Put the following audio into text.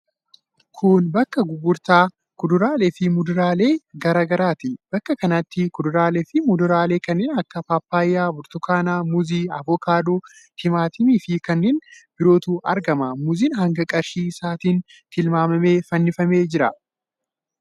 Kun bakka gurgurtaa kuduraalee fi muduraalee garaa garaati. Bakka kanatti kuduraalee fi muduraalee kanneen akka paappayyaa, burtukaana, muuzii, avokaadoo, timaatimii fi kanneen birootu argama. Muuziin hanga qarshii isaatiin tilmaamamee fannifamee jira.